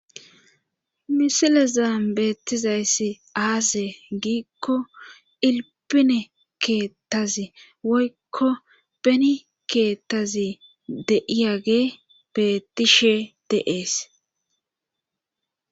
Miisile zaambeetizayssi aase giikko ilpine keettazi woykko beni keettazi deiyage betishe deees